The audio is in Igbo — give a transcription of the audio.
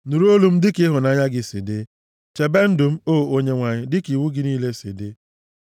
Nụrụ olu m dịka ịhụnanya gị si dị; chebe ndụ m, o Onyenwe anyị, dịka iwu gị niile si dị.